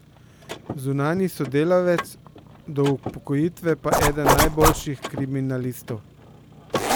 Zunanji sodelavec, do upokojitve pa eden najboljših kriminalistov.